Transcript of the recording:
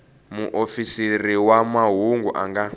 muofisiri wa mahungu a nga